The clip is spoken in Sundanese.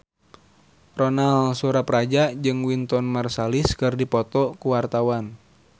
Ronal Surapradja jeung Wynton Marsalis keur dipoto ku wartawan